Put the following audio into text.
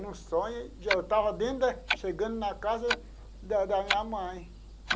No sonho, eu estava dentro, chegando na casa da da minha mãe.